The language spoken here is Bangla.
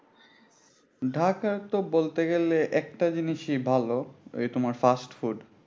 ঢাকার তো বলতে গেলে একটা জিনিসই ভালো এই তোমার fast food